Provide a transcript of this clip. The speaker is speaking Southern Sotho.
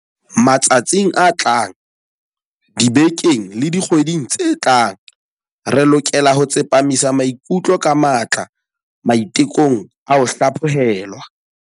Matsatsing a tlang, dibekeng le dikgweding tse tlang, re lokela ho tsepamisa maikutlo ka matla maite kong a ho hlaphohelwa.